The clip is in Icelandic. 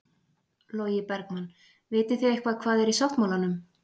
Logi Bergmann: Vitið þið eitthvað hvað er í sáttmálanum?